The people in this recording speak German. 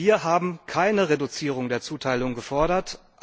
Wir haben keine Reduzierung der Zuteilung gefordert.